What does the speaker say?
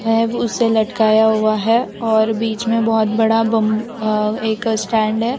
है उसे लटकाया हुआ है और बीच में बहोत बड़ा बंम अ एक स्टैंड है।